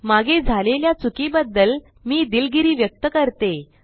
मागे झालेल्या चुकीबद्दल मी दिलगिरी व्यक्त करतो